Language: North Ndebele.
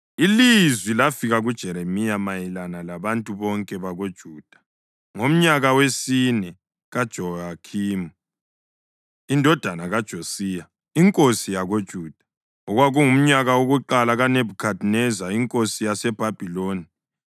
Ilizwi lafika kuJeremiya mayelana labantu bonke bakoJuda ngomnyaka wesine kaJehoyakhimi indodana kaJosiya inkosi yakoJuda, okwakungumnyaka wokuqala kaNebhukhadineza inkosi yaseBhabhiloni.